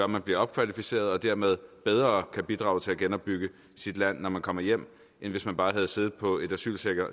man bliver opkvalificeret og dermed bedre kan bidrage til at genopbygge sit land når man kommer hjem end hvis man bare havde siddet på et asylcenter